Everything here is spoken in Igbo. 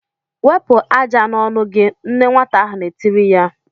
"Wepụ ájá n'ọnụ gị!" Nne nwata ahụ na-etiri ya.